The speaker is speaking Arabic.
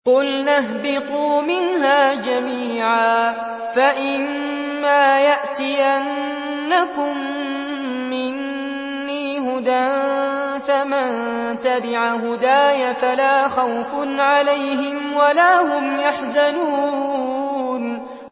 قُلْنَا اهْبِطُوا مِنْهَا جَمِيعًا ۖ فَإِمَّا يَأْتِيَنَّكُم مِّنِّي هُدًى فَمَن تَبِعَ هُدَايَ فَلَا خَوْفٌ عَلَيْهِمْ وَلَا هُمْ يَحْزَنُونَ